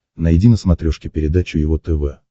найди на смотрешке передачу его тв